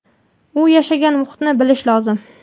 u yashagan muhitni bilish lozim.